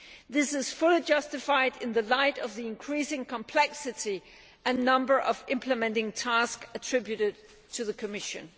This is fully justified in the light of the increasing complexity and number of implementing tasks attributed to the Commission.